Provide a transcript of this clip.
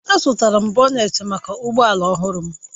Azụtara m bonet maka ụgbọ ala ọhụrụ m